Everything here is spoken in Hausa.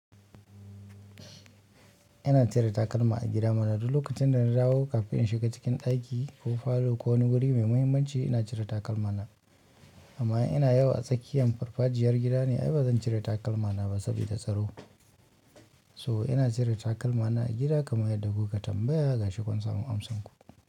Ina cire takalma a gida mana duk lokacin da na dawo kafin in shiga cikin ɗaki ko falo ko wani wuri mai muhimmanci ina cire takalma na. Amma in ina yawo a tsakiyan farfajiyar gida ne ai bazan cire takalma na ba saboda tsaro. So ina cire takalmana a gida kaman yanda kuka yi tambaya, ga shi kun samu amsarku.